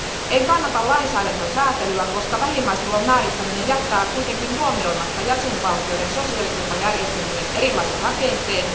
En kannata lainsäädäntöön sääntelyä, koska vähimmäistulon määrittäminen jättää huomioimatta jäsenvaltioiden sosiaaliturvajärjestelmien erilaisen rakenteen.